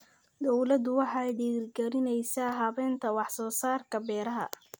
Dawladdu waxay dhiirigelinaysaa habaynta wax soo saarka beeraha.